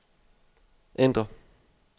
ændr